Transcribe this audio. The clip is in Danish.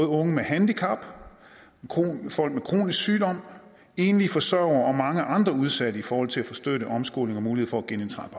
unge med handicap folk med kronisk sygdom enlige forsørgere og mange andre udsatte i forhold til at få støtte omskoling og mulighed for at genindtræde